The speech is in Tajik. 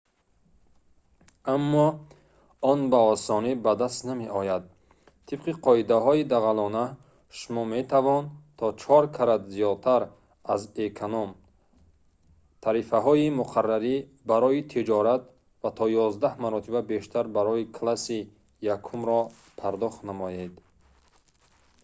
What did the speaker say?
аммо он ба осонӣ ба даст намеояд тибқи қоидаҳои дағалона шумо метавон то чор карат зиёдтар аз эконом-тарифаҳои муқаррарӣ барои тиҷорат ва то ёздаҳ маротиба бештар барои класси якумро пардохт намоед